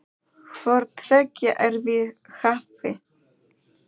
Hvort tveggja er við hæfi.